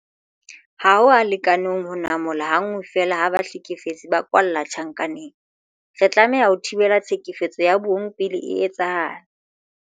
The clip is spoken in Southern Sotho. Ha ho a lekana ho namola ha nngwe feela ha bahlekefetsi ba kwalla tjhankaneng. Re tlameha ho thibela tlhekefetso ya bong pele e etsahala.